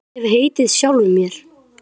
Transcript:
Því hef ég heitið sjálfum mér.